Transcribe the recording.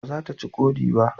Ba za ta ci ƙodi ba